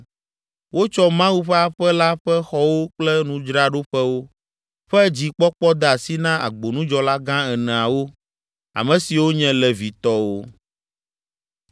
Wotsɔ Mawu ƒe aƒe la ƒe xɔwo kple nudzraɖoƒewo ƒe dzikpɔkpɔ de asi na agbonudzɔlagã eneawo, ame siwo nye Levitɔwo.